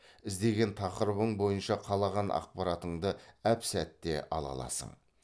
іздеген тақырыбың бойынша қалаған ақпаратыңды әп сәтте ала аласың